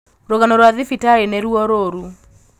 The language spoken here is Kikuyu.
Rūgano rwa thibitarī nīruo rūrū